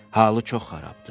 Halı çox xarabdır.